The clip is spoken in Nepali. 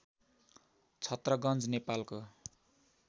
छत्रगञ्ज नेपालको